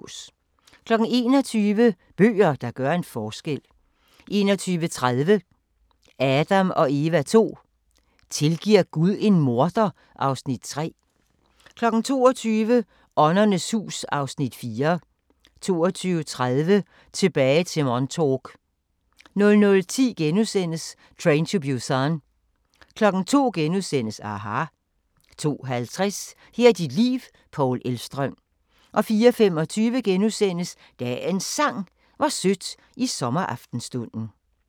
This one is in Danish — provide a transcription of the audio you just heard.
21:00: Bøger, der gør en forskel 21:30: Adam & Eva II: Tilgiver Gud en morder? (Afs. 3) 22:00: Åndernes hus (Afs. 4) 22:30: Tilbage til Montauk 00:10: Train to Busan * 02:00: aHA! * 02:50: Her er dit liv – Paul Elvstrøm 04:25: Dagens Sang: Hvor sødt i sommeraftenstunden *